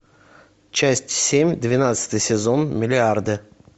часть семь двенадцатый сезон миллиарды